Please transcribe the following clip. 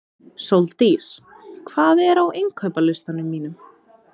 Sóldís, hvað er á innkaupalistanum mínum?